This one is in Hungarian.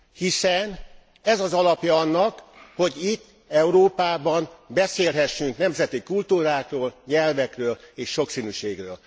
hiszen ez az alapja annak, hogy itt, Európában beszélhessünk nemzeti kultúrákról, nyelvekről és sokszínűségről.